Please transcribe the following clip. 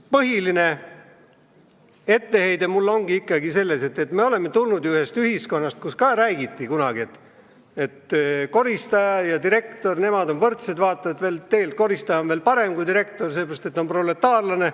Põhiline etteheide on mul ikkagi selles, et me oleme ju tulnud ühiskonnast, kus ikka räägiti, et koristaja ja direktor on võrdsed, vaata et tegelikult koristaja on parem kui direktor, sellepärast et ta on proletaarlane.